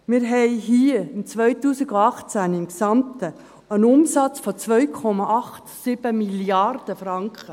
Hier hatten wir 2018 insgesamt einen Umsatz von 2,87 Mrd. Franken.